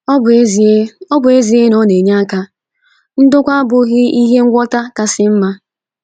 Ọ bụ ezie Ọ bụ ezie na ọ na - enye aka, ndokwa a abụghị ihe ngwọta kasị mma.